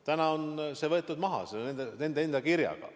Täna on see võetud maha nende enda kirjaga.